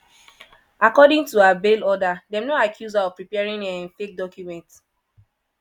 according to her bail order dem no accuse her of preparing um fake documents.